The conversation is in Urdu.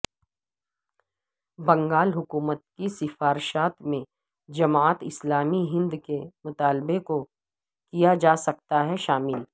بنگال حکومت کی سفارشات میں جماعت اسلامی ہند کے مطالبے کو کیا جاسکتا ہے شامل